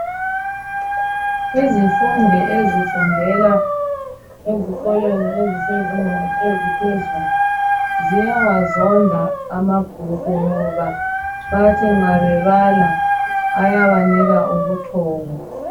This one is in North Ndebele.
Izifundo ezifundwelwa ezikolweni ezisezingeni eziphezulu ziwazonda amabhuku ngoba bathi nxa bebala ayabanika ubuthongo.